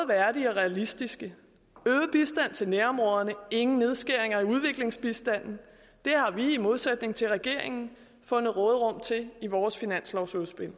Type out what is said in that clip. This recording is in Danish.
værdige og realistiske øget bistand til nærområderne ingen nedskæring af udviklingsbistanden det har vi i modsætning til regeringen fundet råderum til i vores finanslovsudspil